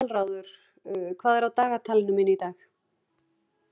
Aðalráður, hvað er á dagatalinu mínu í dag?